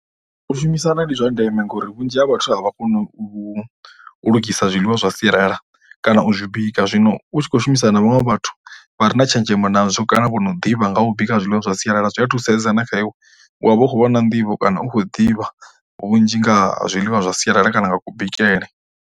U shumisana ndi zwa ndeme ngauri vhunzhi ha vhathu a vha koni u u lugisa zwiḽiwa zwa sialala kana u zwi bika. Zwino u tshi khou shumisana na vhaṅwe vhathu vha re na tshenzhemo nazwo kana vho no ḓivha nga u bika zwiḽiwa zwa sialala zwi thusedza na kha iwe, u wa vha u khou vha na nḓivho kana u khou ḓivha vhunzhi nga zwiḽiwa zwa sialala kana nga kubikele.